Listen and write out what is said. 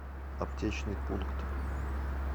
аптечный пункт